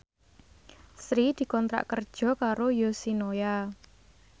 Sri dikontrak kerja karo Yoshinoya